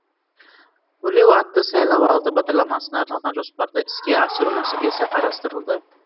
өрлеу атты сайлау алды бағдарламасына арналған жоспарды іске асыру мәселесі қарастырылды